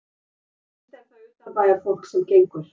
Helst er það utanbæjarfólk sem gengur.